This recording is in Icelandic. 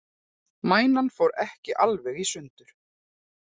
Mænan fór ekki alveg í sundur